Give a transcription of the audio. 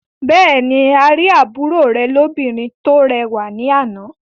Bẹ́ẹ̀ ni, a rí àbúrò rẹ̀ lóbìnrin tó rẹwà ní àná.